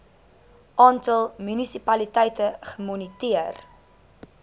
aantal munisipaliteite gemoniteer